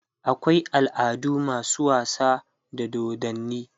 akwai al'adu masu wasa da dodanni